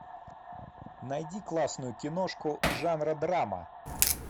найди классную киношку жанра драма